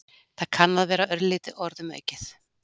það kann að vera örlítið orðum aukið